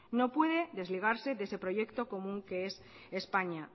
no puede desligarse de ese proyecto común que es españa